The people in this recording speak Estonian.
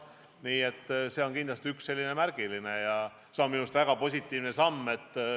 Nii et see on kindlasti üks selline märgiline asi ja minu meelest väga positiivne samm.